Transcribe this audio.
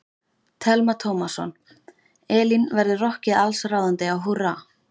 Telma Tómasson: Elín, verður rokkið allsráðandi á Húrra?